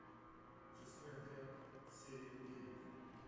шестой отряд серия девять